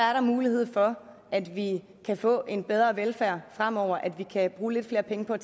er der mulighed for at vi kan få en bedre velfærd fremover at vi kan bruge lidt flere penge på at